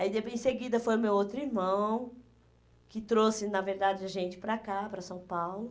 Aí, depois em seguida, foi o meu outro irmão, que trouxe, na verdade, a gente para cá, para São Paulo.